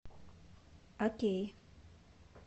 окей